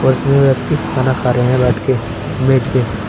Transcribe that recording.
इसमें व्यक्ति खाना खा रहे हैं बैठ के मेज पे।